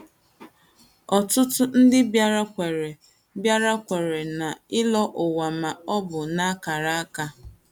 Ọtụtụ ndị bịara kwere bịara kwere n’ị̀lọ̀ ụwa ma ọ bụ n’àkàrà aka.